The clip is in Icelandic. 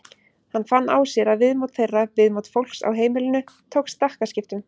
Hann fann á sér að viðmót þeirra, viðmót fólks á heimilinu tók stakkaskiptum.